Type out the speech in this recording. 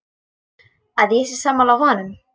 Að ég sé sammála honum.